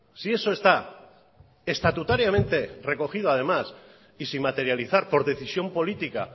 si eso está estatutariamente recogido además y sin materializar por decisión política